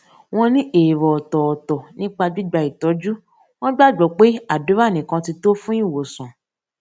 wón ní èrò òtòòtò nípa gbígba ìtójú wón gbàgbó pé àdúrà nìkan ti tó fún ìwòsàn